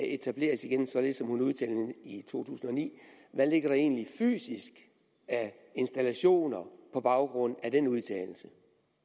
etableres igen således som hun udtalte i 2009 hvad ligger der egentlig fysisk af installationer på baggrund af den udtalelse